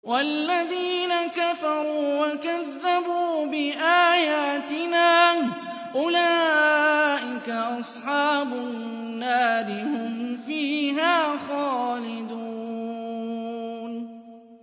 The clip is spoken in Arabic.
وَالَّذِينَ كَفَرُوا وَكَذَّبُوا بِآيَاتِنَا أُولَٰئِكَ أَصْحَابُ النَّارِ ۖ هُمْ فِيهَا خَالِدُونَ